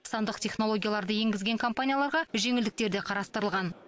сандық технологияларды енгізген компанияларға жеңілдіктер де қарастырылған